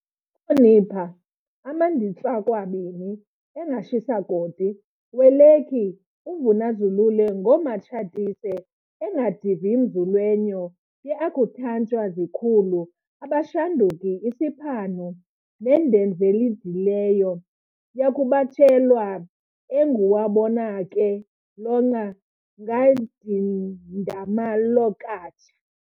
Khonipa amanditsakwabini engashisakoti welekhi uVunazulule ngomaTshatise engadivimzulwenyo yeAkhuthantshani zikhulu abashanduku isipanhu nendzenzelidileyo yakubatshelwa enguwabonake lonqa ngadindamalokatsha